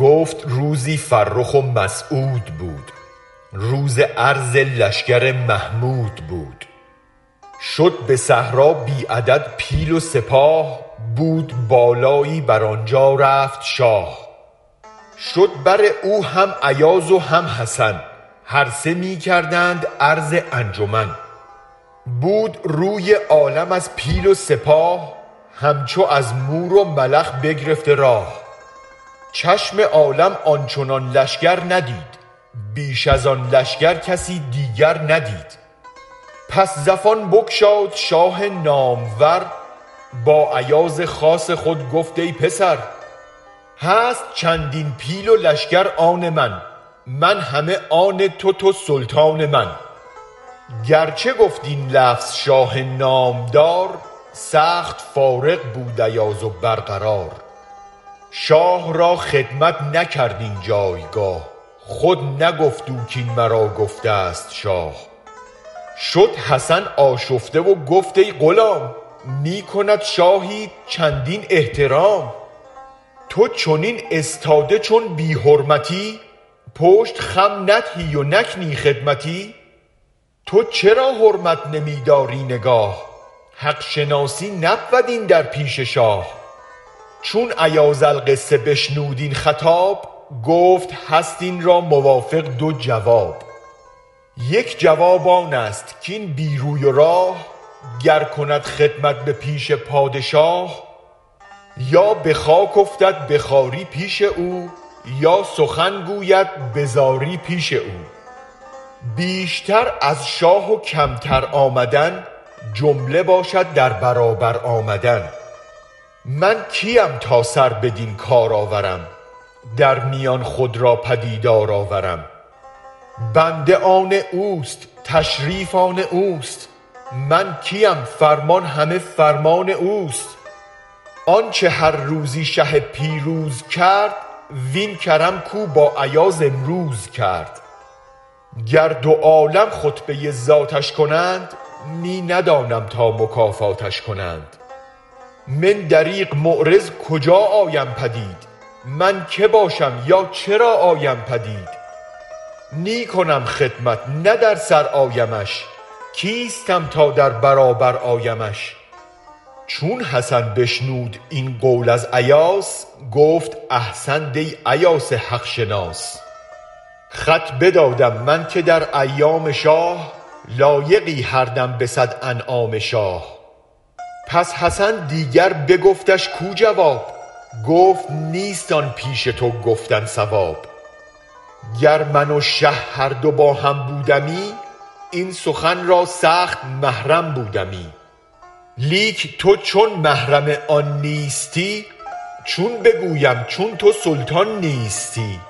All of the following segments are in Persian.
گفت روزی فرخ و مسعود بود روز عرض لشگر محمود بود شد به صحرا بی عدد پیل و سپاه بود بالایی بر آنجا رفت شاه شد بر او هم ایاز و هم حسن هر سه می کردند عرض انجمن بود روی عالم از پیل و سپاه همچو از مور و ملخ بگرفته راه چشم عالم آن چنان لشگر ندید بیش از آن لشگر کسی دیگر ندید پس زفان بگشاد شاه نامور با ایاز خاص خود گفت ای پسر هست چندین پیل و لشگر آن من من همه آن تو تو سلطان من گرچه گفت این لفظ شاه نامدار سخت فارغ بود ایاز و برقرار شاه را خدمت نکرد این جایگاه خود نگفت او کین مرا گفته ست شاه شد حسن آشفته وگفت ای غلام می کند شاهیت چندین احترام تو چنین استاده چون بی حرمتی پشت خم ندهی و نکنی خدمتی تو چرا حرمت نمی داری نگاه حق شناسی نبود این در پیش شاه چون ایاز القصه بشنود این خطاب گفت هست این را موافق دو جواب یک جواب آنست کین بی روی و راه گر کند خدمت به پیش پادشاه یا به خاک افتد به خواری پیش او یا سخن گوید بزاری پیش او بیشتر از شاه و کمتر آمدن جمله باشد در برابر آمدن من کیم تا سر بدین کار آورم در میان خود را پدیدار آورم بنده آن اوست و تشریف آن اوست من کیم فرمان همه فرمان اوست آنچ هر روزی شه پیروز کرد وین کرم کو با ایاز امروز کرد گر دو عالم خطبه ذاتش کنند می ندانم تا مکافاتش کنند من دریغ معرض کجا آیم پدید من که باشم یا چرا آیم پدید نی کنم خدمت نه در سر آیمش کیستم تا در برابر آیمش چون حسن بشنود این قول از ایاس گفت احسنت ای ایاز حق شناس خط بدادم من که در ایام شاه لایقی هر دم به صد انعام شاه پس حسن دیگر بگفتش کو جواب گفت نیست آن پیش تو گفتن صواب گر من و شه هر دو با هم بودمی این سخن را سخت محرم بودمی لیک تو چون محرم آن نیستی چون بگویم چون تو سلطان نیستی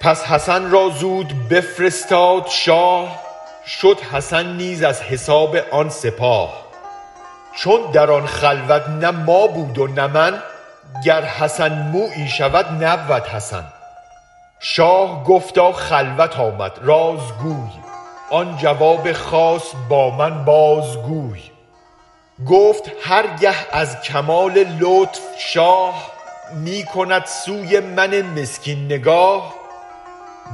پس حسن را زود بفرستاد شاه شد حسن نیز از حساب آن سپاه چون در آن خلوت نه ما بود و نه من گر حسن مویی شود نبود حسن شاه گفتا خلوت آمد راز گوی آن جواب خاص با من باز گوی گفت هر گه از کمال لطف شاه می کند سوی من مسکین نگاه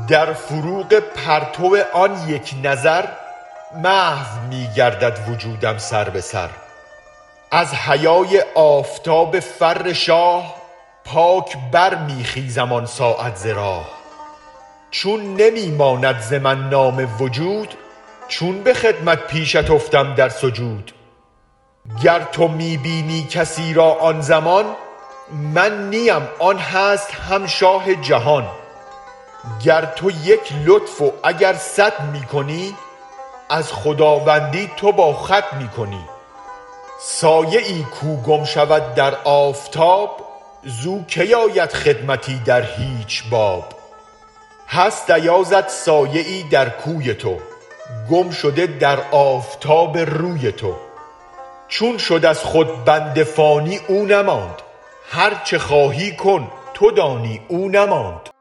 در فروغ پرتو آن یک نظر محو می گردد وجودم سر به سر از حیای آفتاب فر شاه پاک برمی خیزم آن ساعت ز راه چون نمی ماند ز من نام وجود چون به خدمت پیشت افتم در سجود گر تو می بینی کسی را آن زمان من نیم آن هست هم شاه جهان گر تو یک لطف و اگر صد می کنی از خداوندی تو با خود می کنی سایه ای کو گم شود در آفتاب زو کی آید خدمتی در هیچ باب هست ایازت سایه ای در کوی تو گم شده در آفتاب روی تو چون شد از خود بنده فانی او نماند هرچ خواهی کن تو دانی او نماند